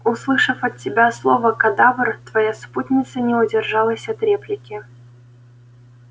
услышав от тебя слово кадавр твоя спутница не удержалась от реплики